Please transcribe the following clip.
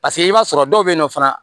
Paseke i b'a sɔrɔ dɔw bɛ yen nɔ fana